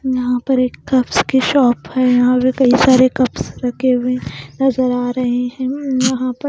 यहाँ पर एक कप्स की शॉप है यहाँ पर कई सारे कप्स रखे हुए हैं नज़र आ रहे हैं यहाँ पर --